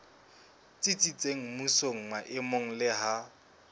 tsitsitseng mmusong maemong le ha